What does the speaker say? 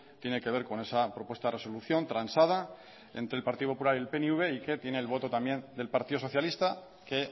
tiene que ver con esa propuesta de resolución transada entre el partido popular y el pnv y que tiene el voto también del partido socialista que